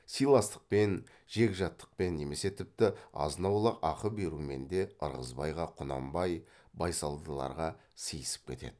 сыйластықпен жегжаттықпен немесе тіпті азынаулақ ақы берумен де ырғызбайға құнанбай байсалдарға сыйысып кетеді